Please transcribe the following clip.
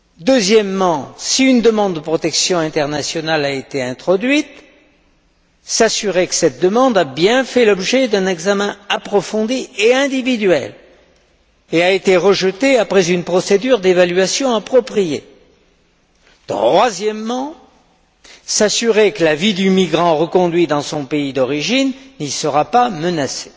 deuxièmement, si une demande de protection internationale a été introduite, s'assurer que cette demande a bien fait l'objet d'un examen approfondi et individuel et a été rejetée après une procédure d'évaluation appropriée troisièmement, s'assurer que la vie du migrant reconduit dans son pays d'origine n'y sera pas menacée.